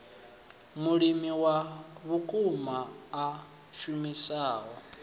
mulimi wa vhukuma a shumisaho